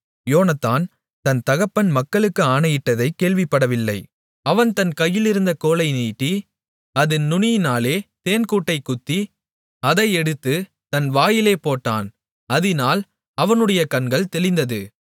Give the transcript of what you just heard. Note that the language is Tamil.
யோனத்தான் தன் தகப்பன் மக்களுக்கு ஆணையிட்டதைக் கேள்விப்படவில்லை அவன் தன் கையிலிருந்த கோலை நீட்டி அதின் நுனியினாலே தேன்கூட்டைக் குத்தி அதை எடுத்துத் தன் வாயிலே போட்டான் அதினால் அவனுடைய கண்கள் தெளிந்தது